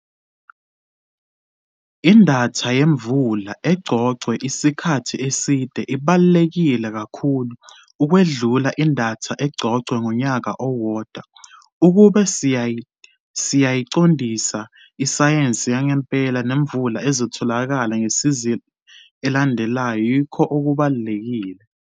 Idatha yemvula eqoqwe isikhathi eside ibaluleka kakhulu ukwedlula idatha eqoqwe ngonyaka owodwa. Ukube siyayiqondisa iyisayensi yangempela nemvula ezotholakala ngesizini elandelayo yikho okubalulekile.